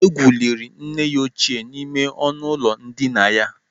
Egwu liri nne ya ochie n'ime ọnụ ụlọ ndịna ya.